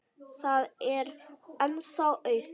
Það er ennþá aumt.